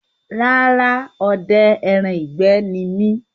Rárá, odẹ ẹran ìgbẹ́ ni mi